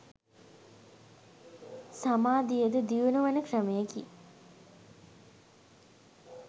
සමාධියද දියුණුවන ක්‍රමයකි